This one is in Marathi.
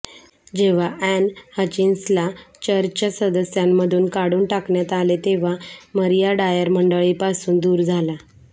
जेव्हा अॅन हचिन्सनला चर्चच्या सदस्यांमधून काढून टाकण्यात आले तेव्हा मरीय डायर मंडळीपासून दूर झाला